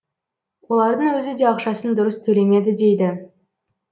олардың өзі де ақшасын дұрыс төлемеді дейді